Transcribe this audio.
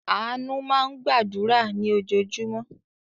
Àánú máa ń gbàdúrà ní ojoojúmọ́.